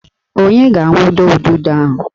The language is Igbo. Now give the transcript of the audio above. Onye ga-awundo ududo ahụ?